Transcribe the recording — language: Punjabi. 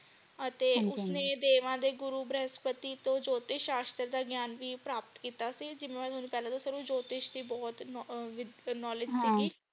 ਅਤੇ ਹਾਂਜੀ ਹਾਂਜੀ ਉਸਨੇ ਦੇਵਾ ਦੇ ਗੁਰੂ ਭ੍ਰਸ਼ਪਤੀ ਤੋਂ ਜੋਤਿਸ਼ ਸ਼ਾਸਤਰ ਦਾ ਗਿਆਨ ਵੀ ਪ੍ਰਾਪਤ ਕੀਤਾ ਸੀ ਜਿਵੇਂ ਤੁਹਾਨੂੰ ਪਹਿਲਾ ਦਸਿਆ ਸੀ ਓਹਨੂੰ ਜੋਤਿਸ਼ ਬਹੁਤ knowledge ਸੀਗੀ।